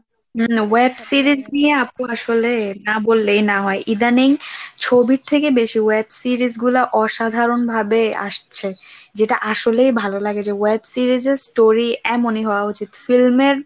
হু web series অপপু আসলে, ইদানিং ছবির থেকে বেশি web series গুলো অসাধারণ ভাবে আসছে যেটা আসলেই ভালো লাগে যে web series এর story এমনই হওয়া উচিত film এর